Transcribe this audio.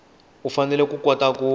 u fanele ku kota ku